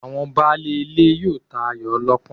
Àwọn baálé ilé yóò tayò ọlọ́pọ́n